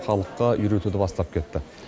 халыққа үйретуді бастап кетті